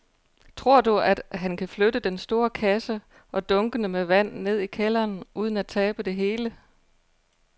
Tror du, at han kan flytte den store kasse og dunkene med vand ned i kælderen uden at tabe det hele?